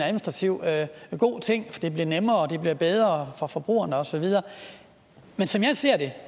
god ting det bliver nemmere og det bliver bedre for forbrugerne og så videre men som jeg ser det